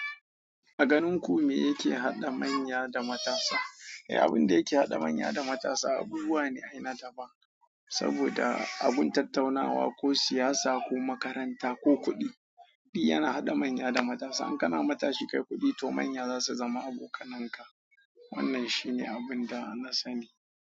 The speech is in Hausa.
A ganin ku me yake haɗa manya da matasa? Eh abunda yake haɗa manya da matasa abubuwa ne saboda abun tattaunawa ko siyasa ko makaranta ko kuɗi. Kuɗi yana haɗa manya da matasa. In ka na matashi kai kuɗi to manya za su zama abokananka. Wannan shi ne abun da na sani.